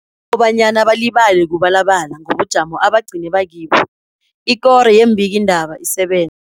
Kunokobanyana balibale kubalabala ngobujamo aba gcine bakibo, ikoro yeembikii ndaba isebenza.